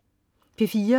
P4: